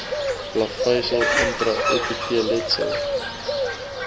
plaveisel intra epiteelletsel